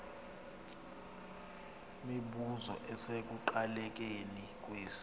mibuzo isekuqalekeni kwesi